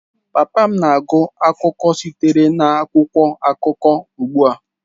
Papa m na-agụ akụkọ sitere n'akwụkwọ akụkọ ugbua.